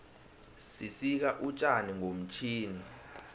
sisika utjani ngomtjhini